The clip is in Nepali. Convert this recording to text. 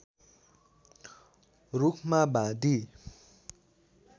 रूखमा बाँधी